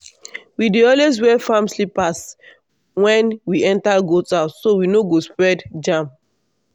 we dey always wear farm slippers when we enter goat house so we no go spread germ.